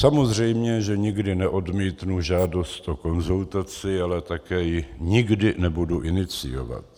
Samozřejmě že nikdy neodmítnu žádost o konzultaci, ale také ji nikdy nebudu iniciovat.